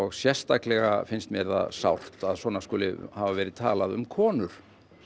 sérstaklega finnst mér það sárt að svona skuli hafa verið talað um konur